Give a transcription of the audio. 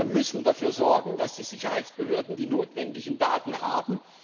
Wir müssen dafür sorgen, dass die Sicherheitsbehörden die notwendigen Daten haben.